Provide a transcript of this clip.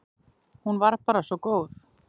Hún var bara svo góð.